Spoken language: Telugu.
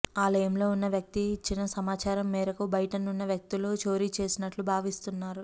ఆలయంలో ఉన్న వ్యక్తి ఇచ్చిన సమాచారం మేరకు బయటనున్న వ్యక్తులు చోరీ చేసినట్లు భావిస్తున్నారు